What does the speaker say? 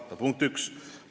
See on punkt üks.